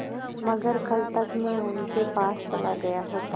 अगर कल तक में उनके पास चला गया होता